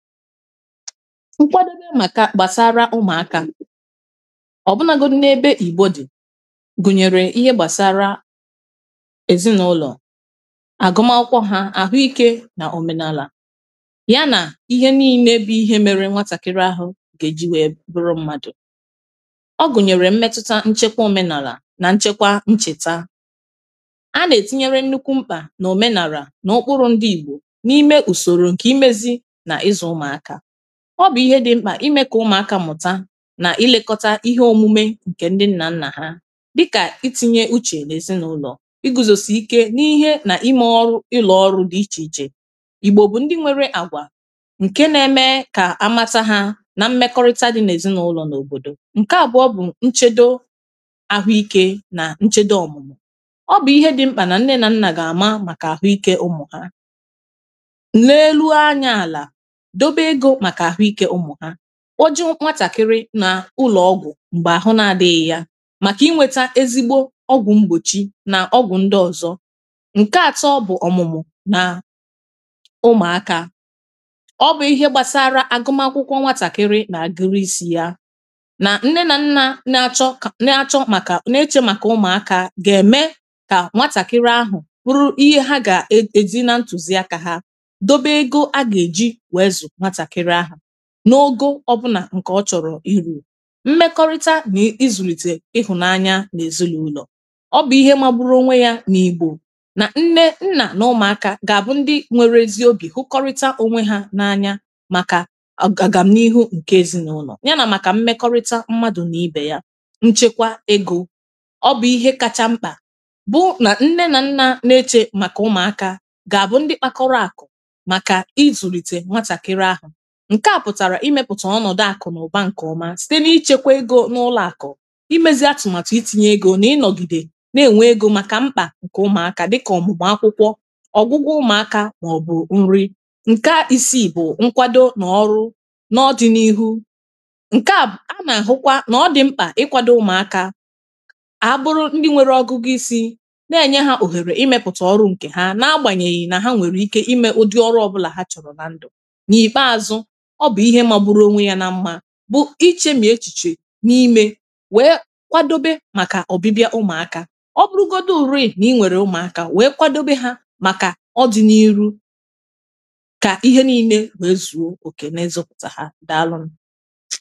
Ụkwadebe maka gbasara ụmụakȧ, ọbụnago n’ebe ìgbo dị̀, gụnyere ihe gbasara èzinaụlọ̀, àgụma akwụkwọ ha, àhụikė nà òmenàlà, ya nà ihe niine bụ ihe mere nwatàkiri ahụ gà-èji wèe bụrụ mmadụ̀. Ọ gùnyèrè mmetuta nchekwa òmenàlà nà nchekwa nchèta. A nà-ètinyere nnukwu mkpà nà òmenàlà nà ụkpụrụ ndị ìgbò n’ime ùsòrò ǹkè imėzi na izù ụmụaka. Ọ bù ihe dị mkpà imė kà ụmụ̀akȧ mùta nà i lėkọta ihe òmume ǹkè ndị nnà nnà ha dịkà, itinye uchè nà èzinụlọ̀, i gùzòsì ike n’ihe nà imė ọrụ ụlọ̀ ọrụ dị ichè ichè. Ịgbò bụ̀ ndị nwere àgwà ǹke na-eme kà amata ha nà mmekọrịta dị nà èzinụlọ̀ n’òbòdò. Nke àbụọ bụ̀ nchèdo àhụ ikė nà nchedo òmùmù. Ọbụ ihe dị mkpà nà ǹne nà nnà gà àma màkà àhụ ike ụmù ha, leelu e anya ala, dobe ègò maka ahụike ụmụ ha, kpọ jeej nwatàkịrị nà ụlọ̀ọgwụ̀ m̀gbè àhụ na-adịghị ya, màkà inwėtȧ ezigbo ọgwụ̀ mgbòchi nà ọgwụ̀ ndị ọ̀zọ. Nke àtọ bụ̀ ọ̀mụ̀mụ̀ nà ụmụ̀akȧ, ọbụ̀ ihe gbasara agụmakwụkwọ nwatàkịrị nà agụ̀rịsi ya, nà nne nà nnȧ na-achọ na-achọ màkà na-echė màkà ụmụ̀akȧ gà ème kà nwatàkịrị ahụ̀ bụrụ ihe ha gà è èzi na ntùzi akȧ ha dobe ègò ha gà-èji wèe ịzụ nwatàkịrị ahu n’ogo ọbụna nke ọchọrọ ịru. Mmekọrịta na ịzụlite ịhụnanya na ezinaụlọ, ọbụ ihe magbụrụ onwe ya na igbo na nne, nna, na ụmụaka ga abụ ndị nwere ezi obi hụkọrịta onwe ha na anya maka ọgam n’ihu nke ezinaụlọ, yanà maka mmekọrịta mmadụ na ibe ya. Nchekwa ègò, ọbụ ihe kacha mkpa bụ na nne na nna na-echè maka ụmụaka ga abụ ndị kpakọrọ akụ maka ịzụlite nwatakịrị ahụ. Nkèa pụ̀tàrà imėpụ̀tà ọnọ̀dụ àkụ̀ nà ụ̀ba ǹkè ọma, site n’ịchekwa egȯ n’ụlọ àkụ̀, imėzị atụ̀màtụ itinyė ègò, nà ịnọ̀gìdè na-ènwe ègò màkà mkpà ǹkè ụmụ̀akȧ dịkà òmùmù akwụkwọ, ọ̀gwụgwụ ụmụ̀akȧ, mà ọ̀bụ̀ nri. Nke isiì bụ̀ nkwado, nà ọrụ na ọdịnihu ǹke à, anà-àhụkwa nà ọ dị̀ mkpà ịkwado ụmụ̀akȧ àa bụrụ ndị nwèrè ọgụgụ isi na-ènye hȧ òhèrè imėpụ̀tà ọrụ ǹkè ha na agbanyèghì nà ha nwèrè ike imė ụdị ọrụ ọbụlà ha chọrọ̀ na ndụ̀. N' ikpeazụ ọ bụ ihe magbụrụ onwe yà na mma bụ ịcheṁi echiche ǹ imė weė kwadobe màkà ọ̀bịbịa ụmụ̀akȧ. Ọbụrụgodị ùreè na ịnwèrè ụmụ̀akȧ weė kwadobe ha màkà ọdinairu, kà ihe niine wee zuo òkè na ịzụpụtà ha. Dàalụ nù.